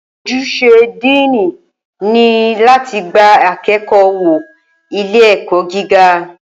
Ojúṣe Díìnì ni láti gba akẹ́kọ̀ọ́ wọ ilé ẹ̀kọ́ gíga